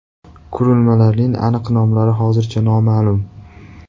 Qurilmalarning aniq nomlari hozircha noma’lum.